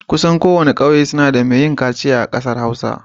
Kusan kowane ƙauye suna da mai yin kaciya a ƙasar Hausa.